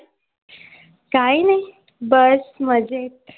काही नाही बस मजेत.